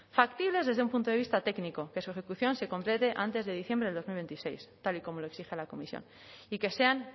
factibles desde un punto de vista técnico que su ejecución se complete antes de diciembre del dos mil veintiséis tal y como lo exige la comisión y que sean